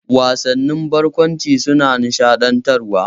Wasannin barkwanci suna nishaɗantarwa.